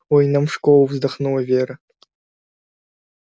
ой нам в школу вздохнула вера